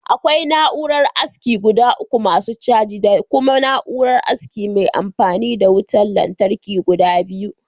Akwai na'uran aski guda uku masu caji, Da kuma na'uran aski mai anfani da wuta latarki guda biyu